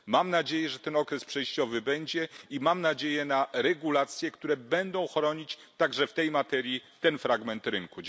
Mam nadzieję, że ten okres przejściowy będzie i mam nadzieję na regulacje, które będą chronić także w tej materii ten fragment rynku.